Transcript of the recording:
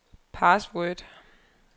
password